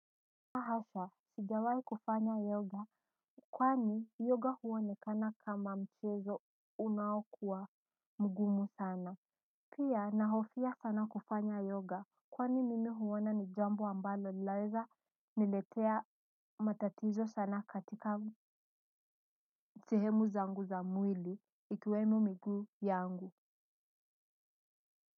La hasha sijawai kufanya yoga kwani yoga huonekana kama mchezo unaokua mgumu sana pia nahofia sana kufanya yoga kwani mimi huona ni jambo ambalo laweza niletea matatizo sana katika sehemu zangu za mwili ikiwemo miguu yangu.